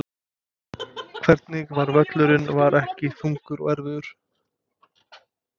Hvernig var völlurinn var hann ekki þungur og erfiður?